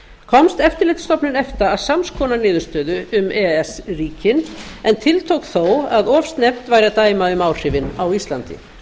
komst eftirlitsstofnun efta að sams konar niðurstöðu um e e s ríkin en tiltók þó að of snemmt væri að dæma um áhrifin á íslandi